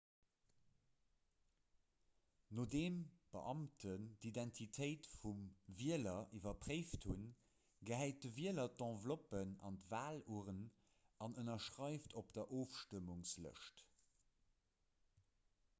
nodeem beamten d'identitéit vum wieler iwwerpréift hunn gehäit de wieler d'enveloppe an d'walurn an ënnerschreift op der ofstëmmungslëscht